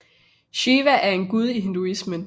Shiva er en gud i hinduismen